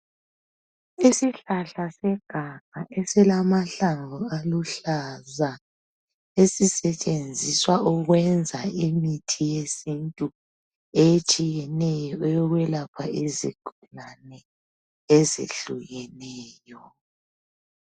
Isihlahla seganga esilamahlamvu aluhlaza esisetshenziswa ukwenza imithi yesintu etshiyeneyo eyokwelapha izigulane ezihlukeneyo